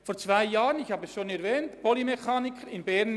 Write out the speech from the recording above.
Vor zwei Jahren schlossen wir die Ausbildung zum Polymechaniker in Bern.